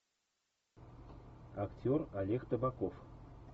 актер олег табаков